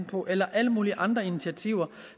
på eller alle mulige andre initiativer